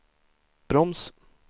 broms